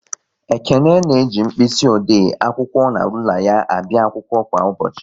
Ekene na-eji mkpịsị ode, akwụkwọ na rula ya abịa akwụkwọ kwa ụbọchị